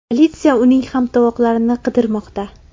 Politsiya uning hamtovoqlarini qidirmoqda.